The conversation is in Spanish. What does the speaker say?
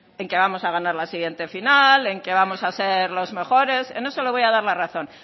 en que vamos a ganar la siguiente final en que vamos a ser los mejores en eso le voy dar la razón